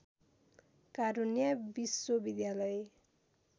कारुण्या विश्वविद्यालय